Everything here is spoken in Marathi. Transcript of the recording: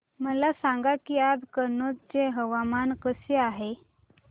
मला सांगा की आज कनौज चे हवामान कसे आहे